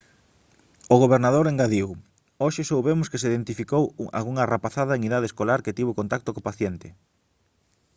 o gobernador engadiu hoxe soubemos que se identificou algunha rapazada en idade escolar que tivo contacto co paciente